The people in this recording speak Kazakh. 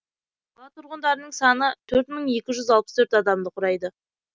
қала тұрғындарының саны төрт мың екі жүз алпыс төрт адамды құрайды